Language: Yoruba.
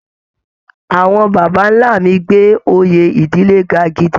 Àwọn baba ńlá mi gbé oyè ìdílé ga gidi